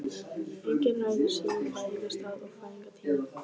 Enginn ræður sínum fæðingarstað og fæðingartíma.